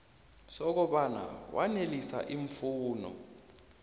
sokobana wanelisa iimfuno